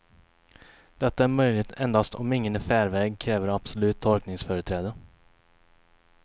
Detta är möjligt endast om ingen i färväg kräver absolut tolkningsföreträde.